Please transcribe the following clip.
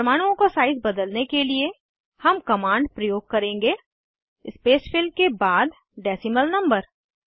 परमाणुओं का साइज़ बदलने के लिए हम कमांड प्रयोग करेंगे स्पेसफिल के बाद डेसीमल नंबर